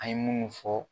An ye munnu fɔ